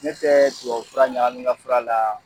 Ne tɛ tubabu fura ɲagami n ka fura la.